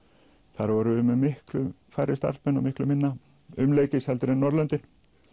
þar vorum við með miklu færri starfsmenn og miklu minna umleikis heldur en Norðurlöndin